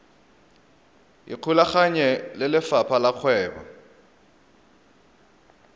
ikgolaganye le lefapha la kgwebo